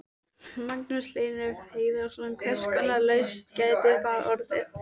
Magnús Hlynur Hreiðarsson: Hvers konar lausn gæti það orðið?